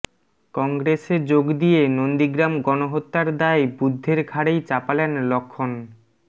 কংগ্রেসে যোগ দিয়ে নন্দীগ্রাম গণহত্যার দায় বুদ্ধের ঘাড়েই চাপালেন লক্ষ্মণ